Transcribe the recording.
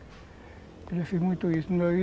Eu já fiz muito isso